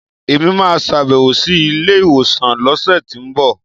Èmi máa sàbẹ̀wò sí ilé ìwòsàn lọ́sẹ̀tínbọ̀